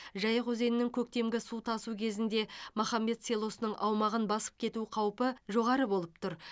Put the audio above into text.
жайық өзенінің көктемгі су тасу кезінде махамбет селосының аумағын басып кету қаупі жоғары болып тұр